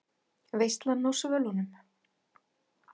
VEISLAN Á SVÖLUNUM